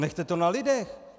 Nechte to na lidech.